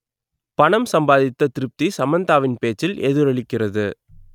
பணம் சம்பாதித்த திருப்தி சமந்தாவின் பேச்சில் எதிரொலிக்கிறது